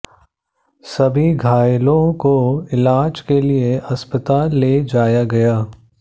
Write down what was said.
सभी घायलों को इलाज के लिए अस्पताल ले जाया गया है